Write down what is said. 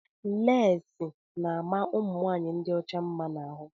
Leesi na ama ụmụnwanyị dị ọcha mma na ahụ.